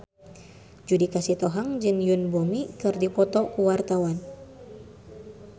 Judika Sitohang jeung Yoon Bomi keur dipoto ku wartawan